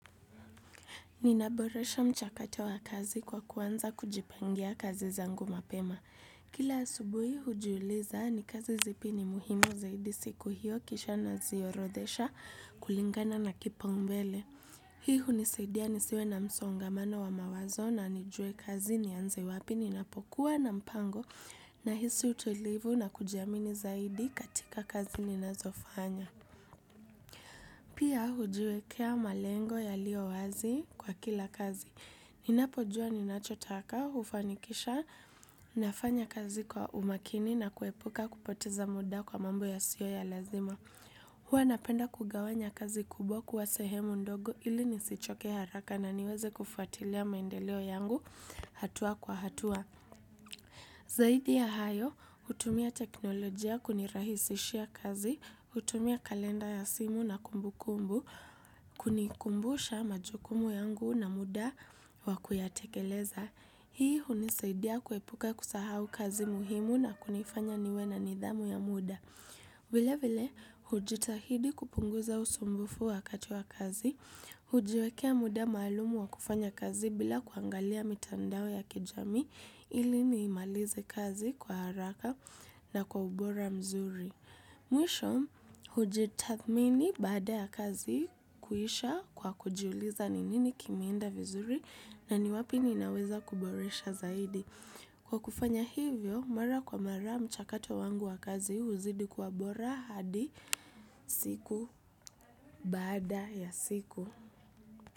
Ninaboresha mchakato wa kazi kwa kuanza kujipangia kazi zangu mapema. Kila asubuhi hujiuliza ni kazi zipi ni muhimu zaidi siku hiyo kisha naziorothesha kulingana na kipaumbele. Hii hunisaidia nisiwe na msongamano wa mawazo na nijue kazi nianze wapi ninapokuwa na mpango, nahisi utulivu na kujiamini zaidi katika kazi ninazofanya. Pia hujiwekea malengo yaliyo wazi kwa kila kazi. Ninapojua ninachotaka kufanikisha nafanya kazi kwa umakini na kuepuka kupoteza muda kwa mambo yasiyo ya lazima. Huwa napenda kugawanya kazi kubwa kuwa sehemu ndogo ili nisichoke haraka na niweze kufuatilia maendeleo yangu hatua kwa hatua. Zaidi ya hayo, hutumia teknolojia kunirahisishia kazi, hutumia kalenda ya simu na kumbukumbu, kunikumbusha majukumu yangu na muda wa kuyatekeleza. Hii hunisaidia kuepuka kusahau kazi muhimu na kunifanya niwe na nidhamu ya muda. Vilevile, hujitahidi kupunguza usumbufu wakati wa kazi, hujiwekea muda maalumu wa kufanya kazi bila kuangalia mitandao ya kijamii ili niimalize kazi kwa haraka na kwa ubora mzuri. Mwisho, hujitathmini baada ya kazi kuisha kwa kujiuliza ni nini kimeenda vizuri na ni wapi ninaweza kuboresha zaidi. Kwa kufanya hivyo, mara kwa mara mchakato wangu wa kazi huzidi kuwa bora hadi siku baada ya siku.